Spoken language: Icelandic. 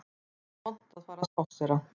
Nú er vont að fara að spásséra